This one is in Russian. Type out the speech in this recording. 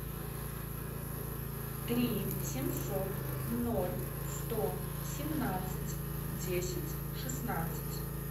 три семьсот ноль сто семнадцать десять шестнадцать